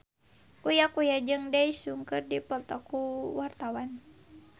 Uya Kuya jeung Daesung keur dipoto ku wartawan